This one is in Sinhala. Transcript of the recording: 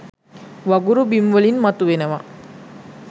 වගුරු බිම් වලින් මතු වෙනවා.